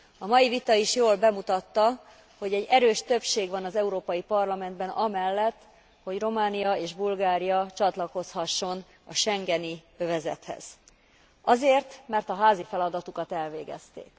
A mai vita is jól bemutatta, hogy egy erős többség van az Európai Parlamentben amellett, hogy Románia és Bulgária csatlakozhasson a schengeni övezethez. Azért, mert a házi feladatukat elvégezték.